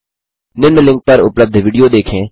निम्न लिंक पर उपलब्ध विडियो देखें